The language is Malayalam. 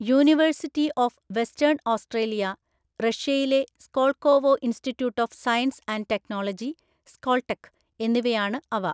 യൂണിവേഴ്സിറ്റി ഓഫ് വെസ്റ്റേൺ ഓസ്ട്രേലിയ; റഷ്യയിലെ Skolkovo institute of science and technology (Skoltech) എന്നിവയാണ് അവ.